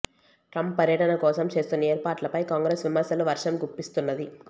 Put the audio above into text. Trump పర్యటన కోసం చేస్తున్న ఏర్పాట్లపై కాంగ్రెస్ విమర్శల వర్షం గుప్పిస్తున్నది